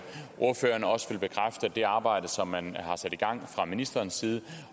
det arbejde som man har sat i gang fra ministerens side